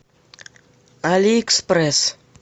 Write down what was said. али экспресс